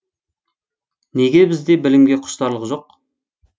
неге бізде білімге құштарлық жоқ